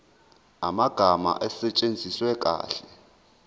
amagama asetshenziswe kahle